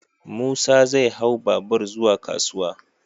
Musa zai hau babur zuwa kasuwa.